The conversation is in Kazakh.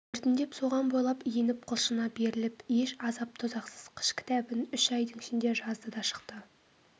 біртіндеп соған бойлап еніп құлшына беріліп еш азап-тозақсыз қыш кітабын үш айдың ішінде жазды да шықты